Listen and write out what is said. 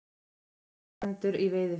Segir rannsakendur í veiðiferð